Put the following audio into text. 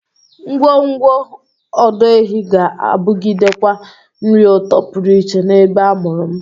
Ngwọngwọ ọdọ ehi ga-abụgidekwa nri ụtọ pụrụ iche n'ebe a mụrụ m.